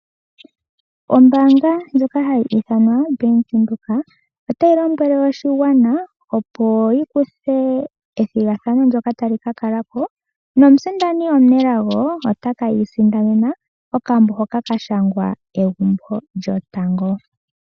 Ombanga ndjoka hayi ithanwa oBank Windhoek, ota yi lombwele oshigwana opo yi kuthe ethigathano ndyoka tali kakalako nomusindani omunelago ote kiisindanena okambo hoka ka shangwa "Egumbo lyotango".